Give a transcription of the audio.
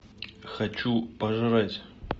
хочу пожрать